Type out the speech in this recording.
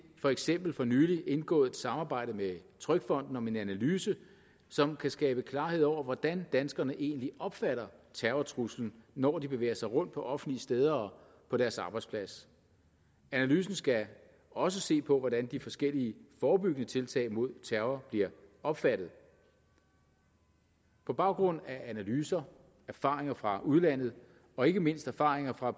for eksempel for nylig indgået et samarbejde med trygfonden om en analyse som kan skabe klarhed over hvordan danskerne egentlig opfatter terrortruslen når de bevæger sig rundt på offentlige steder og på deres arbejdsplads analysen skal også se på hvordan de forskellige forebyggende tiltag mod terror bliver opfattet på baggrund af analyser erfaringer fra udlandet og ikke mindst erfaringer fra